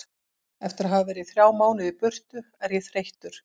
Eftir að hafa verið í þrjá mánuði í burtu er ég þreyttur.